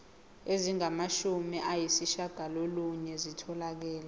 ezingamashumi ayishiyagalolunye zitholakele